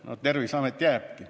Ainult Terviseamet jääbki.